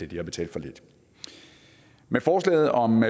de har betalt for lidt med forslaget om